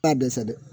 T'a dɛsɛ dɛ